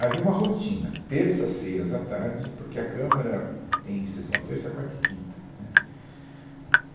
Havia uma rotina, terças-feiras à tarde, porque a Câmara tem sessão terça, quarta e quinta, né